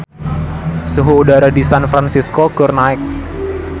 Suhu udara di San Fransisco keur naek